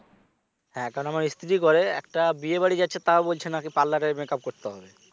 হ্যাঁ কারণ আমার স্ত্রী করে একটা বিয়ে বাড়ি যাচ্ছে তাও বলছে নাকি parlour এ makeup হবে